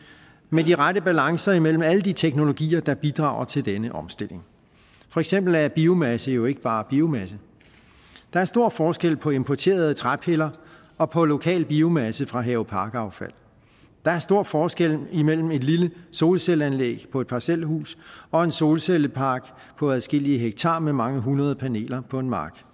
med de rette balancer mellem alle de teknologier der bidrager til denne omstilling for eksempel er biomasse jo ikke bare biomasse der er stor forskel på importerede træpiller og på lokal biomasse fra haveparkaffald der er stor forskel mellem et lille solcelleanlæg på et parcelhus og en solcellepark på adskillige hektar med mange hundrede paneler på en mark